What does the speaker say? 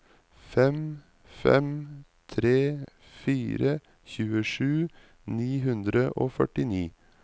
fem fem tre fire tjuesju ni hundre og førtini